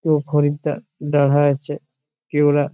দো খরিদ্দার দারহা আছে কে ওরা--